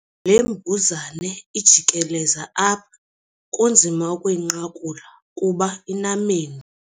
Le mbuzane ijikeleza apha kunzima ukuyinqakula kuba inamendu.